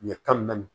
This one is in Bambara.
Ɲɛ tan ni naani